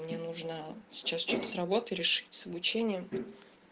мне нужно сейчас что-то с работой решить с обучением